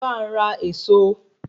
Bá n ra Ẹ̀ẹ̀so